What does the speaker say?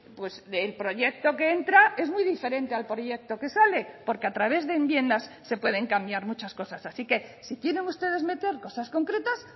pues del proyecto que entra es muy diferente al proyecto que sale porque a través de enmiendas se pueden cambiar muchas cosas así que si quieren ustedes meter cosas concretas